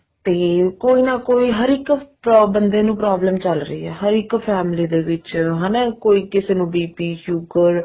ਤੇ ਕੋਈ ਨਾ ਕੋਈ ਹਰ ਇੱਕ ਬੰਦੇ ਨੂੰ problem ਚੱਲ ਰਹੀ ਹੈ ਹਰ ਇੱਕ family ਦੇ ਵਿੱਚ ਹਨਾ ਕੋਈ ਕਿਸੇ ਨੂੰ BP sugar